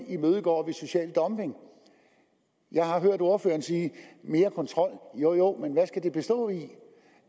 imødegår social dumping jeg har hørt ordføreren sige mere kontrol jo jo men hvad skal den bestå i